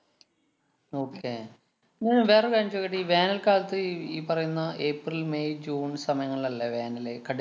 okay ങ്ങ് വേറൊരു കാര്യം ചോദിക്കട്ടെ. ഈ വേനല്‍ കാലത്ത് ഈ ഈ പറയുന്ന ഏപ്രില്‍ മേയ് ജൂണ്‍ സമയങ്ങളിലല്ലേ വേനല് കടു~